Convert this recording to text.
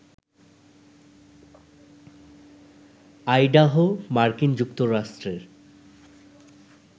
Idaho মার্কিন যুক্তরাষ্ট্রের